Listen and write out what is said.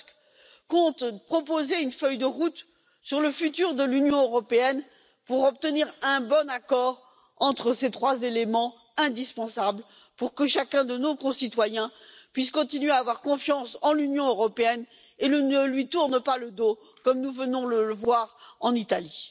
Tusk compte proposer une feuille de route sur le futur de l'Union européenne pour obtenir un bon accord au regard de ces trois éléments indispensables, pour que chacun de nos concitoyens puisse continuer à avoir confiance en l'Union européenne et ne lui tourne pas le dos, comme nous venons de le voir en Italie.